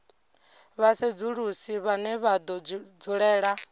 vhasedzulusi vhane vha do dzulela